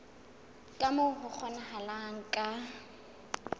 ka moo ho kgonahalang ka